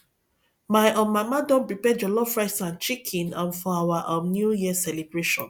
my um mama don prepare jollof rice and chicken um for our um new year celebration